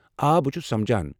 آ، بہٕ چھُس سمجھان۔